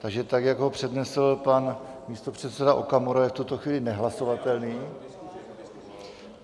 Takže tak, jak ho přednesl pan místopředseda Okamura, je v tuto chvíli nehlasovatelný.